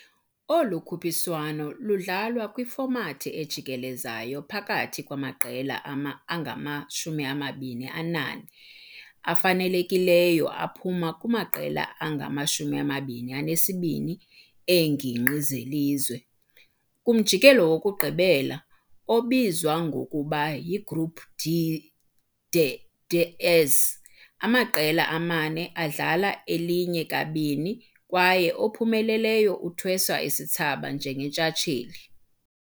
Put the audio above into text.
Olu khuphiswano ludlalwa kwifomathi ejikelezayo phakathi kwamaqela angama-24 afanelekileyo aphuma kumaqela angama-22 eengingqi zelizwe. Kumjikelo wokugqibela, obizwa ngokuba yiGroup D de "des As", amaqela amane adlala elinye kabini kwaye ophumeleleyo uthweswa isithsaba njengentshatsheli.